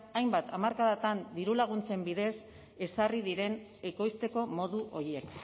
hainbat hamarkadatan dirulaguntzen bidez ezarri diren ekoizteko modu horiek